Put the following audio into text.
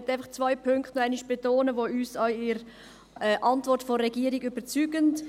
Ich möchte zwei Punkte noch einmal betonen, welche uns in der Antwort von der Regierung überzeugen.